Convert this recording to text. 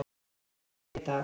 Sem hann veit af.